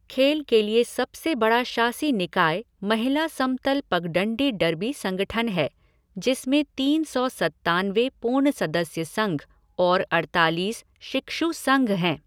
खेल के लिए सबसे बड़ा शासी निकाय महिला समतल पगडंडी डर्बी संगठन है, जिसमें तीन सौ सत्तानवे पूर्ण सदस्य संघ और अड़तालीस शिक्षु संघ हैं।